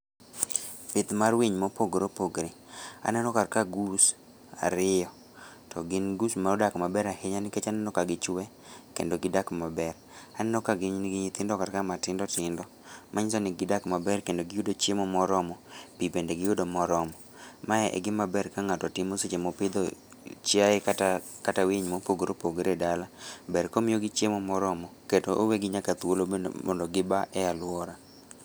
Pith mar winy mopogre opogre. Aneno ka ka goose ariyo, to gin goose ma odak maber ahinya nikech aneno ka gichwe kendo gidak maber. Aneno ka gin gi nyithindo kar ka matindo tindo, manyiso ni gidak maber kendo giyudo chiemo moromo, pi bende giyudo moromo. Ma e gima ber ka ng'ato timo seche mopidho chiaye kata, kata winy mopogore opogore e dala. Ber komiyo gi chiemo moromo, kata owegi nyaka thuolo bende mondo gi ba e alwora.